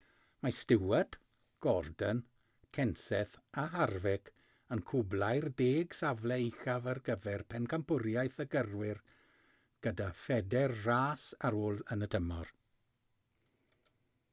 mae stewart gordon kenseth a harvick yn cwblhau'r deg safle uchaf ar gyfer pencampwriaeth y gyrwyr gyda phedair ras ar ôl yn y tymor